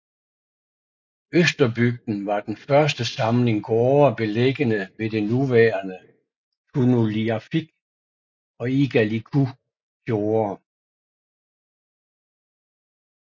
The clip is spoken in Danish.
Østerbygden var den første samling gårde beliggende ved det nuværende Tunulliarfik og Igaliku Fjorde